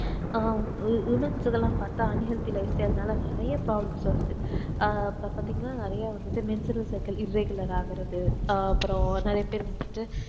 ஆஹ் womens கலாம் பாத்தா unhealthy life style னால நெறைய problems வருத ஆஹ் இப்ப பாத்தீங்கனா menstrural circule irregular ஆகுறது ஆஹ் அப்புறம் நெறைய பேர் வந்துட்டு